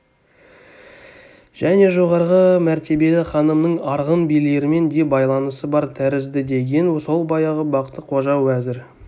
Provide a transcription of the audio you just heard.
және жоғарғы мәртебелі ханымның арғын билерімен де байланысы бар тәріздідеген сол баяғы бақты-қожа уәзір